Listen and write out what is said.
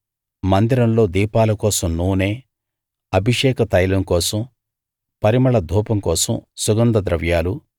మందిరంలో దీపాల కోసం నూనె అభిషేక తైలం కోసం పరిమళ ధూపం కోసం సుగంధ ద్రవ్యాలు